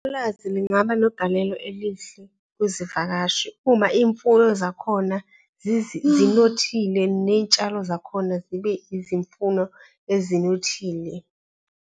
Ulwazi lingaba negalelo elihle kuzivakashi uma iy'mfuyo zakhona zinothile ney'tshalo zakhona zibe izimfuno ezinothile.